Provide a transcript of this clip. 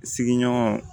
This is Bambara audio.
Sigiɲɔgɔn